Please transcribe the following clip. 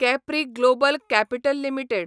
Capri Global Capital limited